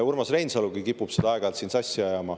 Urmas Reinsalugi kipub seda aeg-ajalt siin sassi ajama.